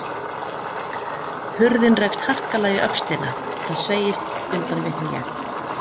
Hurðin rekst harkalega í öxlina, það sveigist undan mér hné.